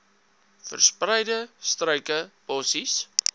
verspreide struike bossies